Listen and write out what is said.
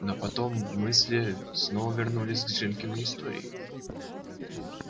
но потом мысли снова вернулись к женькиной истории